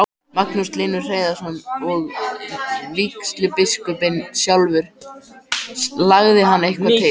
Magnús Hlynur Hreiðarsson: Og vígslubiskupinn sjálfur, lagði hann eitthvað til?